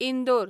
Indore